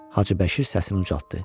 Hacı Bəşir səsini ucaltdı.